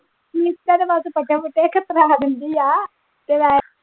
ਨੀਤਾ ਤੇ ਬਸ ਪੱਠੇ ਪੁੱਠੇ ਦਿੰਦੀ ਆ ਤੇ ਬਸ।